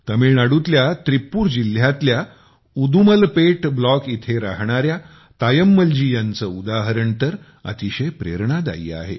तमिळनाडूतल्या त्रीप्पूर जिल्ह्यतल्या उदुमलपेट ब्लॉक इथे राहणाऱ्या तायम्मल जी यांचे उदाहरण तर अतिशय प्रेरणादायी आहे